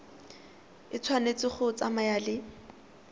e tshwanetse go tsamaya le